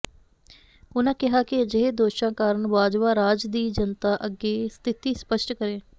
ਉਨ੍ਹਾਂ ਕਿਹਾ ਕਿ ਅਜਿਹੇ ਦੋਸ਼ਾਂ ਕਾਰਨ ਬਾਜਵਾ ਰਾਜ ਦੀ ਜਨਤਾ ਅੱਗੇ ਸਥਿਤੀ ਸਪਸ਼ਟ ਕਰੇ